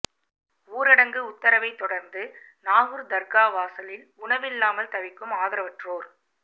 ஊரடங்கு உத்தரவை தொடர்ந்து நாகூர் தர்கா வாசலில் உணவில்லாமல் தவிக்கும் ஆதரவற்றோர்